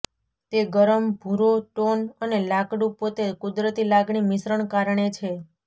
તે ગરમ ભુરો ટોન અને લાકડું પોતે કુદરતી લાગણી મિશ્રણ કારણે છે